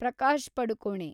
Prakash Padukone